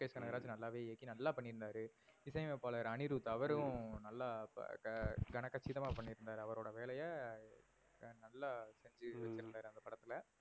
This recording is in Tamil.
ஹம் லோகேஷ் கனகராஜ் நல்லாவே இயக்கி நல்லா பண்ணி இருந்தாரு. இசை அமைப்பாளர் அனிருத் ஹம் அவரும் நல்லா ஆஹ் கன கட்சிதமா பண்ணி இருந்தாரு அவரோட வேலைய ஆஹ் நல்லா செஞ்சி ஹம் வச்சிருந்தாரு அந்த படத்துல.